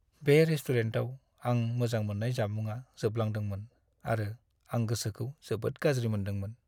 बे रेस्टुरेन्टाव आं मोजां मोननाय जामुंआ जोबलांदोंमोन आरो आं गोसोखौ जोबोद गाज्रि मोनदोंमोन।